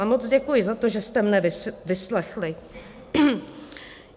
A moc děkuji za to, že jste mě vyslechli.